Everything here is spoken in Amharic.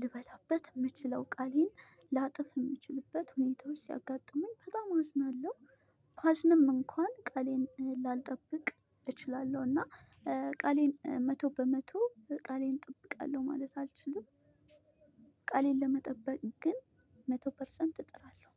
ልበላበት የምችለው ቃሌን ላጥፍ የምችልበት ሁኔታዎች ሲያጋጥመኝ በጣም አዝናለሁ። ባዝንም እንኳን ቃሌን ላልጠብቅ እችላለሁ እና ቃሌን መቶ በመቶ ቃሌን እጠብቃለሁ ማለት አልችልም። ቃሌን ለመጠበቅ ግን መቶ ፐርሰንት እጥራለሁ።